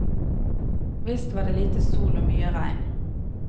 Visst var det lite sol og mye regn.